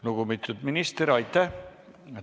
Lugupeetud minister, aitäh!